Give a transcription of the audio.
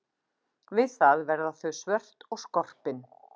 Við það verða þau svört og skorpin.